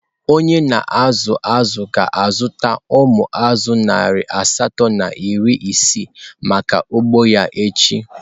Onye na-akụ azụ̀ ga-azụta umu azu narị asatọ na iri isii maka ugbo ya echi.